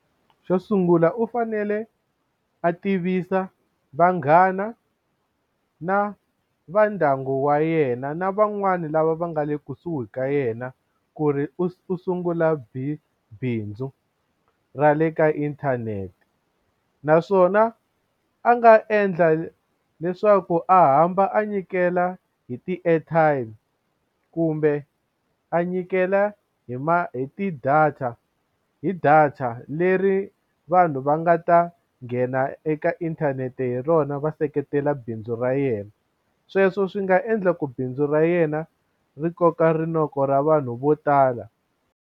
Xo sungula u fanele a tivisa vanghana na va ndyangu wa yena na van'wani lava va nga le kusuhi ka yena ku ri u sungula bindzu ra le ka inthanete u naswona a nga endla leswaku a hamba a nyikela hi ti-airtime kumbe a nyikela hi hi ti-data hi data leri vanhu va nga ta nghena eka inthanete hi rona va seketela bindzu ra yena sweswo swi nga endla ku bindzu ra yena ri koka rinoko ra vanhu vo tala.